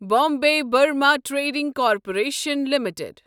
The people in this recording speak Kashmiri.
Bombay Burmah Trading Corporation limited